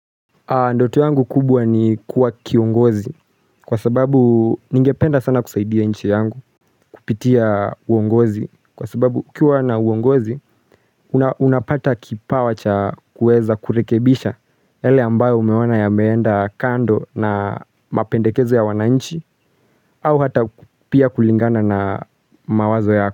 Ndoto yangu kubwa ni kuwa kiongozi kwa sababu ningependa sana kusaidia nchi yangu kupitia uongozi kwa sababu ukiwa na uongozi unapata kipawa cha kuweza kurekebisha yale ambayo umeoana ya meenda kando na mapendekezo ya wananchi au hata pia kulingana na mawazo yako.